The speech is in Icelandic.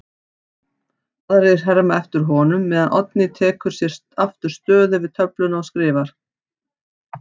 Aðrir herma eftir honum meðan Oddný tekur sér aftur stöðu við töfluna og skrifar